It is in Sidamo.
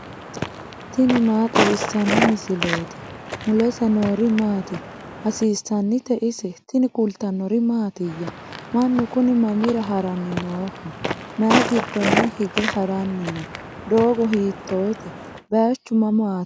tini maa xawissanno misileeti ? mulese noori maati ? hiissinannite ise ? tini kultannori mattiya? Mannu kunni mamira haranni nooho? may giddonni hige haranni no? doogo hiittotte? bayiichchu mamaatti?